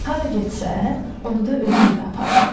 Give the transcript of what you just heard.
Hara getsə, onu da özü ilə aparırdı.